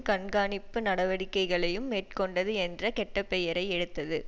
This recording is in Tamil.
கண்காணிப்பு நடவடிக்கைகளையும் மேற்கொண்டது என்ற கெட்ட பெயரை எடுத்தது